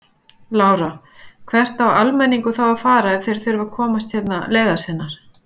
Lára: Hvert á almenningur þá að fara ef þeir þurfa að komast hérna leiðar sinnar?